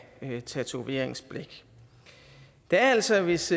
tatoveringsblæk der er altså hvis